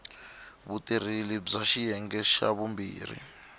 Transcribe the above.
vutirheli bya xiyenge xa vumbirhi